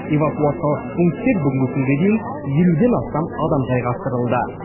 эвакуациялық пунктке бүгінгі күнге дейін елуден астам адам жайғастырылды